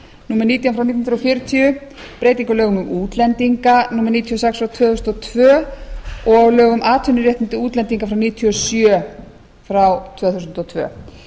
nítján hundruð fjörutíu breytingu á lögum um útlendinga númer níutíu og sex tvö þúsund og tvö og lögum um atvinnuréttindi útlendinga númer níutíu og sjö tvö þúsund og tvö